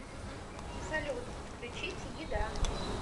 салют включить еда